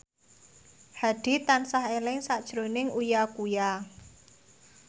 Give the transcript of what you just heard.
Hadi tansah eling sakjroning Uya Kuya